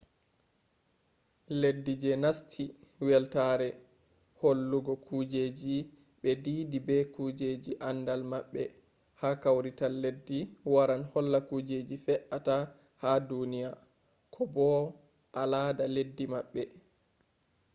leddi je nasti weltaare hollugo kujeji ɓe diidi be kujeji andal maɓɓe ha kawrital leddi waran holla kujeji fe’ata ha duniya ko bo alada leddi maɓɓe